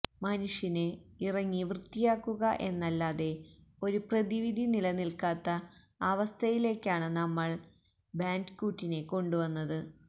മനുഷ്യന് ഇറങ്ങി വൃത്തിയാക്കുക എന്നല്ലാതെ ഒരു പ്രതിവിധി നിലനില്ക്കാത്ത അവസ്ഥയിലേക്കാണ് നമ്മള് ബാന്ഡികൂട്ടിനെ കൊണ്ടുവന്നത്